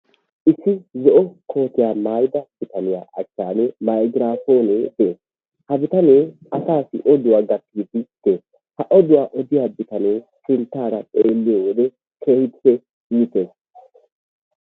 Issi zo'o kootiyaa maayida bitaniya achchaan maygraafoonee de'ees. Ha bittanee asaasi odduwa gattidi de'ees. Ha bitanee sinttara xeelliyo wode keehiippe iitees.